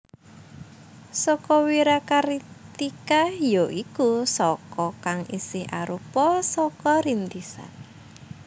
Saka Wirakartika ya iku Saka kang isih arupa Saka Rintisan